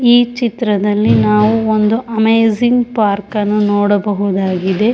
ಈ ಚಿತ್ರದಲ್ಲಿ ನಾವು ಒಂದು ಅಮೇಜಿಂಗ್ ಪಾರ್ಕ್ ಅನ್ನು ನೋಡಬಹುದಾಗಿದೆ.